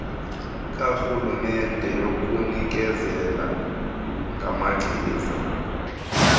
karhulumente yokunikezela ngamachiza